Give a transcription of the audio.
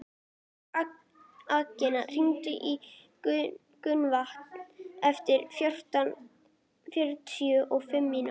Agnea, hringdu í Gunnvant eftir fjörutíu og fimm mínútur.